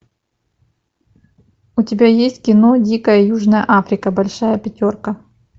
у тебя есть кино дикая южная африка большая пятерка